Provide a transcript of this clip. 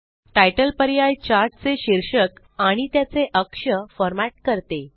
तितले पर्याय चार्ट चे शीर्षक आणि त्याचे अक्ष फ़ॉर्मेट करते